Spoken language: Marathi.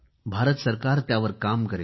भारत सरकार त्यावर काम करेल